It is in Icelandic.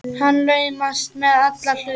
Hann laumast með alla hluti.